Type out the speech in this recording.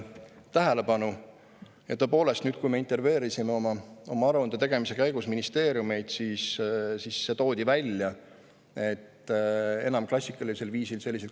Ja tõepoolest, kui me nüüd intervjueerisime oma aruande tegemise käigus ministeeriumeid, siis öeldi, et enam mingeid selliseid kohtumisi klassikalisel viisil ei toimu.